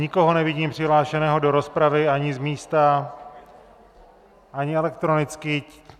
Nikoho nevidím přihlášeného do rozpravy ani z místa, ani elektronicky.